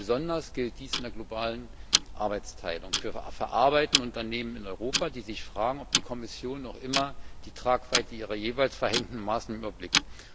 Besonders gilt dies in der globalen Arbeitsteilung für verarbeitende Unternehmen in Europa, die sich fragen, ob die Kommission noch immer die Tragweite ihrer jeweils verhängten Maßnahmen überblickt.